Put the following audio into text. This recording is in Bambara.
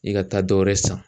I ka taa dɔ wɛrɛ san